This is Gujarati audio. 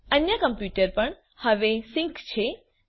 અન્ય કમ્પ્યુટર પણ હવે સિંક છે